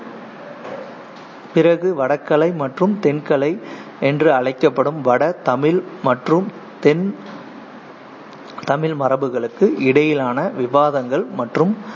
பிறகு, வடக்கலை மற்றும் தென்கலை என்று அழைக்கப்படும் வட தமிழ் மற்றும் தென் தமிழ் மரபுகளுக்கு இடையிலான விவாதங்கள் மற்றும்